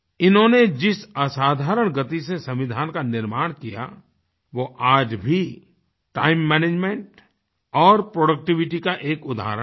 इन्होंने जिस असाधारण गति से संविधान का निर्माण किया वो आज भी टाइम मैनेजमेंट और प्रोडक्टिविटी का एक उदाहरण है